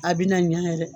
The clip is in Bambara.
A bina ɲa yɛrɛ